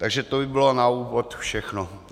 Takže to by bylo na úvod všechno.